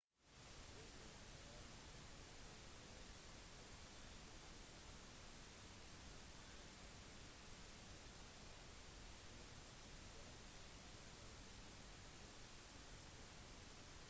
turister har mulighet til å dra til ulike landemerker i et land eller de kan rett og slett velge å holde seg på kun ett sted